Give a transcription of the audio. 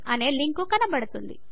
అనే లింకు కనపడుతుంది